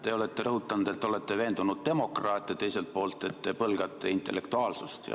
Te olete rõhutanud, et te olete veendunud demokraat, ja teiselt poolt, et te põlgate intellektuaalsust.